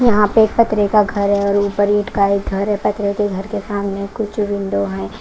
यहाँ पे एक पतरे का घर है और ऊपर ईंट का एक घर है पतरे के घर के सामने कुछ विंडो हैं।